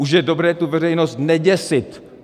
Už je dobré tu veřejnost neděsit.